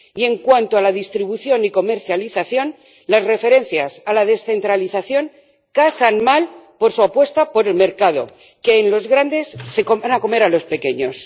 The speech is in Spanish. Y en cuanto a la distribución y comercialización, las referencias a la descentralización casan mal por su apuesta por el mercado, que en los grandes se van a comer a los pequeños.